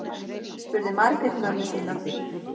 spurði margrét mömmu sína